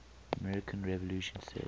american revolution set